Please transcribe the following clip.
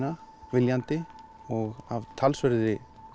viljandi og af talsverðri